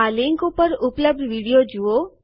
આ લીંક ઉપર ઉપલબ્ધ વિડીઓ જુઓ